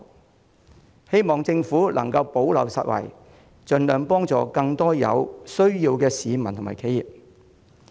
我希望政府能夠補漏拾遺，盡量協助更多有需要的市民和企業。